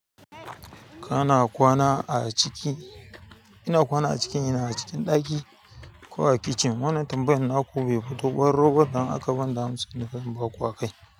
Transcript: Kana kwana a ciki. Ina kwana a ciki, ina cikin ɗaki ko a kicin. Wannan tambayan naku be batubbar robar don aka banda mu sanin ban ba kuwa kai.